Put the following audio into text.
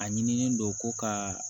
A ɲinilen don ko ka